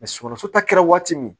sunɔgɔ so ta kɛra waati min